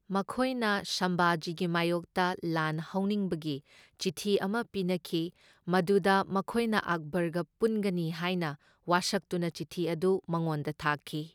ꯃꯈꯣꯢꯅ ꯁꯝꯚꯥꯖꯤꯒꯤ ꯃꯥꯢꯌꯣꯛꯇ ꯂꯥꯟ ꯍꯧꯅꯤꯡꯕꯒꯤ ꯆꯤꯊꯤ ꯑꯃ ꯄꯤꯅꯈꯤ ꯃꯗꯨꯗ ꯃꯈꯣꯢꯅ ꯑꯛꯕꯔꯒ ꯄꯨꯟꯒꯅꯤ ꯍꯥꯢꯅ ꯋꯥꯁꯛꯇꯨꯅ ꯆꯤꯊꯤ ꯑꯗꯨ ꯃꯉꯣꯟꯗ ꯊꯥꯈꯤ꯫